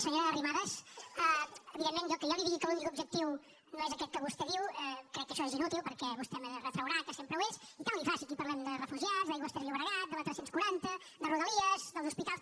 senyora arrimadas evidentment que jo li digui que l’únic objectiu no és aquest que vostè diu crec que això és inútil perquè vostè me retraurà que sempre ho és i tant li fa si aquí parlem de refugiats d’aigües ter llobregat de la tres cents i quaranta de rodalies dels hospitals